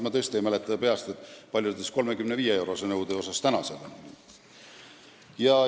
Ma tõesti ei mäleta peast, kui palju 35-eurose nõude korral maksta tuleb.